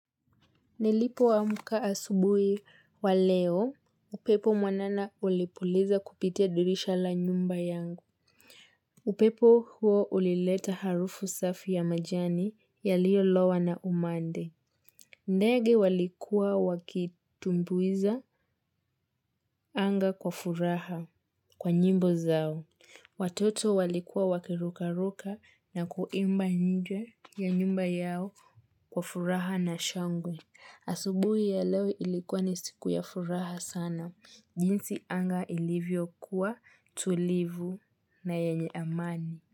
Nelipo wa muka asubui wa leo, upepo mwanana ulipuliza kupitia durisha la nyumba yangu. Upepo huo ulileta harufu safi ya majani ya liyo lawa na umande. Ndegi walikuwa wakitumbuiza anga kwa furaha kwa njimbo zao. Watoto walikuwa wakiruka ruka na kuimba njwe ya nyumba yao kwa furaha na shangwe. Asubuhi ya lewe ilikuwa ni siku ya furaha sana. Jinsi anga ilivyo kuwa tulivu na yenye amani.